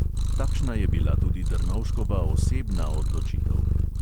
Takšna je bila tudi drnovškova osebna odločitev.